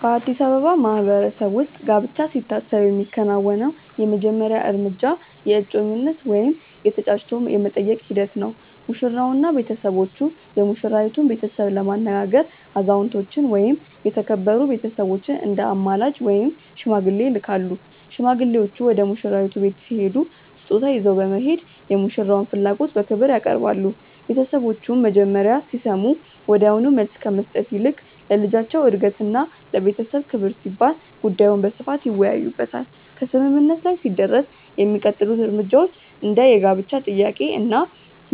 በአዲስ አበባ ማህበረሰብ ውስጥ ጋብቻ ሲታሰብ የሚከናወነው የመጀመሪያው እርምጃ የእጮኝነት ወይም የ"ተጫጭቶ የመጠየቅ" ሂደት ነው። ሙሽራውና ቤተሰቦቹ የሙሽራይቱን ቤተሰብ ለማነጋገር አዛውንቶችን ወይም የተከበሩ ቤተሰቦችን እንደ አማላጅ (ሽማግሌ) ይልካሉ። ሽማግሌዎቹ ወደ ሙሽራይቱ ቤት ሲሄዱ ስጦታ ይዘው በመሄድ የሙሽራውን ፍላጎት በክብር ያቀርባሉ። ቤተሰቦቹም መጀመሪያ ሲሰሙ ወዲያውኑ መልስ ከመስጠት ይልቅ ለልጃቸው እድገትና ለቤተሰብ ክብር ሲባል ጉዳዩን በስፋት ይወያዩበታል። ከስምምነት ላይ ሲደረስ የሚቀጥሉት እርምጃዎች እንደ የጋብቻ ጥያቄ እና